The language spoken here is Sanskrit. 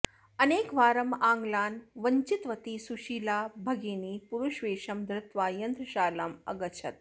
अनेकवारम् आङ्ग्लान् वञ्चितवती सुशीलाभगिनी पुरुषवेशं धृत्वा यन्त्रशालाम् अगच्छत्